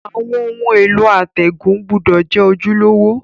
Àwon oun èló àtègùn gbúdò je ojúlówó